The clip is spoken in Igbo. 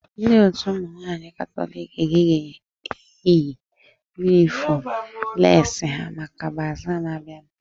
Ndị otu ụmụ nwaanyị katọliki ga-eyi yunifọm leesi ha maka bazaa na-abianu